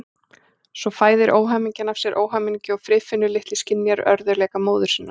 Svo fæðir óhamingjan af sér óhamingju og Friðfinnur litli skynjar örðugleika móður sinnar.